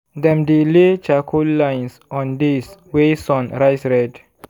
dem dey lay charcoal lines on days wey sun rise red.